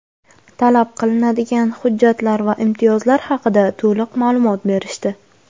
talab qilinadigan hujjatlar va imtiyozlar haqida to‘liq ma’lumot berishdi.